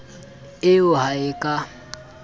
eo ha e a ka